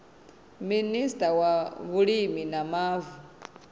minista wa vhulimi na mavu